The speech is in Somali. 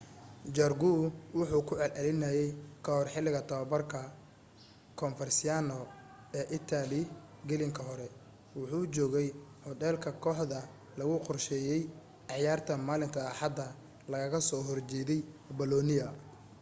jarque wuxuu ku celcelinayey ka hor xiliga tobabarka coverciano ee italy gelinka hore wuxuu joogay hodheel ka koaxda lagu qorsheeyey ciyaarta maalinta axada lagaga soo hor jeedey bolonia